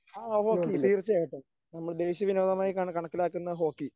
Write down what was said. ആ ഹോക്കി തീർച്ചയായിട്ടും നമ്മൾ ദേശീയ വിനോദമായി കണക്കിലാക്കുന്ന ഹോക്കി.